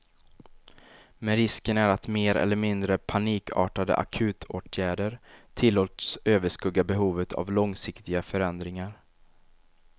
Men risken är att mer eller mindre panikartade akutåtgärder tillåts överskugga behovet av långsiktiga förändringar.